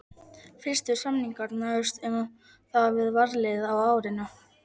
Fyrstu samningar náðust um það við varnarliðið á árinu